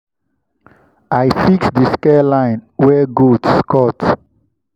i fix the the scare line wey goats cut.